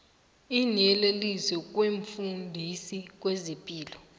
iinyeleliso kumfundisi wezepilo